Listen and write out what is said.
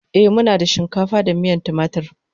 E, muna da shinkafa da miyan timatur.